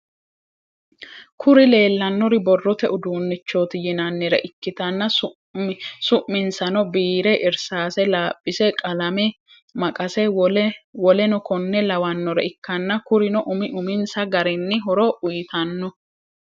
Kuri leellannori borrote uduunnichoti yinaannire ikkitanna su'minsano biire, irsaase, laaphise, qalame, maqase, woleno konne lawannore ikkanna. Kurino umi uminsa garinni horo uyitanno.